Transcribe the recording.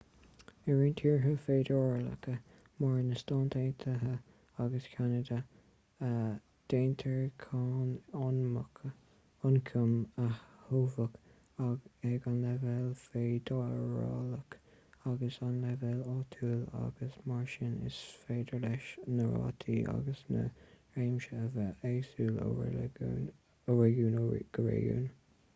i roinnt tíortha feidearálacha mar na stáit aontaithe agus ceanada déantar cáin ioncaim a thobhach ag an leibhéal feidearálach agus ag an leibhéal áitiúil agus mar sin is féidir leis na rátaí agus na réimsí a bheith éagsúil ó réigiún go réigiún